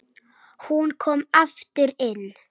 Hún kom aftur inn